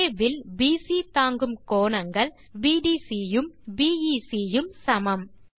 ஒரே வில் பிசி தாங்கும் கோணங்கள் பிடிசி யும் பிஇசி உம் சமம்